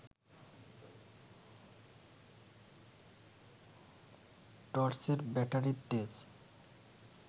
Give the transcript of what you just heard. টর্চের ব্যাটারির তেজ